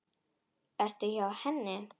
Ertu hjá henni?